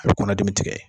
A bɛ kɔnɔdimi tigɛ